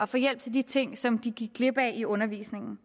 få hjælp til de ting som de gik glip af i undervisningen